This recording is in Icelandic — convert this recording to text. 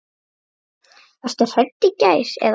Varstu hrædd í gær eða?